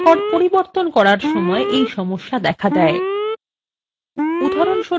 কোনো record পরিবর্তন করার সময় এই সমস্যা দেখা দেয়